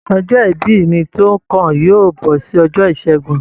Ọjọ́ ìbí mí to kàn yóò bọ sí ọjọ́ ìṣẹgun.